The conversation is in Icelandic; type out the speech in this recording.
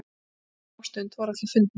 Eftir smástund voru allir fundnir.